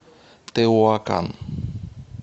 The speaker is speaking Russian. теуакан